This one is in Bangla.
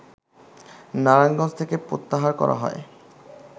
নারায়ণগঞ্জ থেকে প্রত্যাহার করা হয়